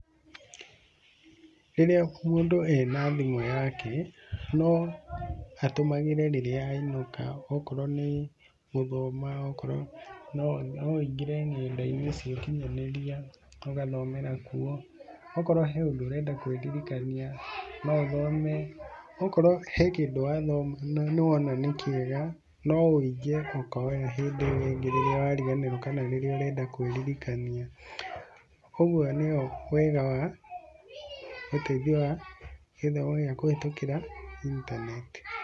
Rĩrĩa mũndũ ena thimũ yake no atũmagĩre rĩrĩa ainũka akorwo nĩ gũthoma, akorwo, no aingĩre nenda-inĩ cia ũkinyanĩria ũgathomera no akorwo harĩ ũndũ ũrenda kwĩririkania no ũthomi, okorwo he kĩndũ wathoma na nĩwona nĩ kĩega no wũige ũkoya hĩndĩ ĩyo ĩngĩ rĩrĩa wariganĩrwo kana rĩrĩa urenda kwĩririkania, kwoguo nĩyo wega wa ũteithio wa kũhetũkĩra intaneti.